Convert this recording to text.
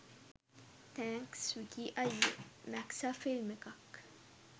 thanks Vicky අය්යේ මැක්සා film එකක්